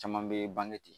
Caman be bange ten